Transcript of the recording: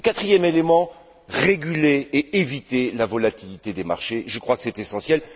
Et, quatrième élément, réguler et éviter la volatilité des marchés, je crois que c'est essentiel.